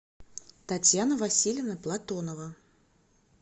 татьяна васильевна платонова